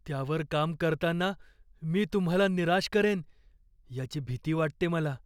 त्यावर काम करताना मी तुम्हाला निराश करेन याची भीती वाटते मला.